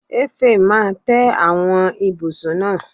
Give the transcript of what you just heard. Èfè máa tẹ àwọn ibùsùn náà.